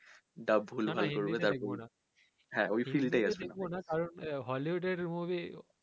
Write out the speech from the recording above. হ্যা ওই scene টাই আছে